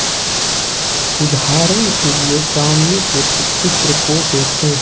उदाहरण के लिये सामने के चित्र को देखें